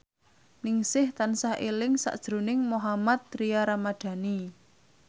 Ningsih tansah eling sakjroning Mohammad Tria Ramadhani